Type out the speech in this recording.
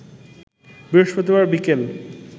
বৃহস্পতিবার বিকেল